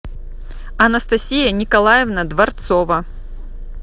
анастасия николаевна дворцова